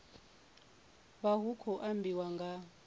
vha hu khou ambiwa nga